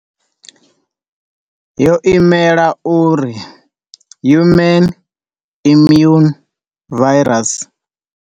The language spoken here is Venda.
Yo imela uri Human Immune Virus.